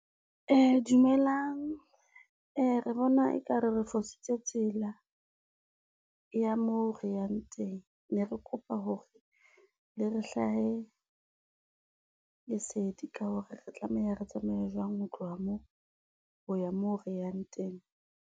Dumelang re bona ekare re fositse tsela, ya moo re yang teng ne re kopa hore le re hlahe, lesedi ka hore re tlameha re tsamaye jwang ho tloha moo, ho ya moo re yang teng.